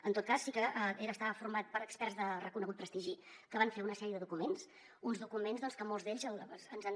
en tot cas sí que estava format per experts de reconegut prestigi que van fer una sèrie de documents uns documents que molts d’ells ens han